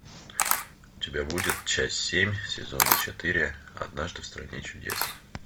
у тебя будет часть семь сезона четыре однажды в стране чудес